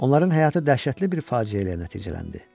Onların həyatı dəhşətli bir faciə ilə nəticələndi.